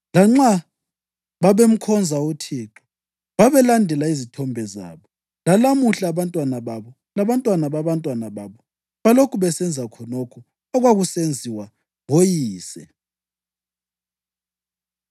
Lanxa babemkhonza uThixo, babelandela izithombe zabo. Lalamuhla abantwababo labantwana babantwababo balokhu besenza khonokho okwakusenziwa ngoyise.